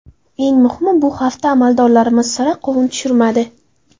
Eng muhimi – bu hafta amaldorlarimiz sira qovun tushirmadi.